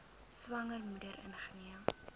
swanger moeder ingeneem